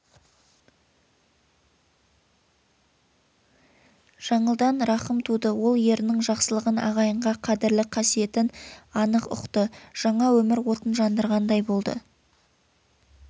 жаңылдан рахым туды ол ерінін жақсылығын ағайынға қадірлі қасиетін анық ұқты жаңа өмір отын жандырғандай болды